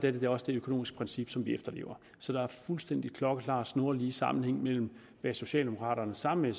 er det også det økonomiske princip som vi efterlever så der er fuldstændig klokkeklar og snorlige sammenhæng mellem hvad socialdemokraterne sammen med